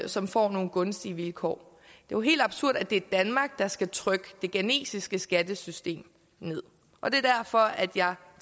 som får nogle gunstige vilkår det jo helt absurd at det er danmark der skal trykke det ghanesiske skattesystem ned og det er derfor at jeg